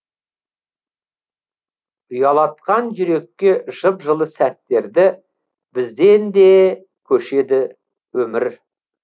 ұялатқан жүрекке жып жылы сәттерді бізден де көшеді өмір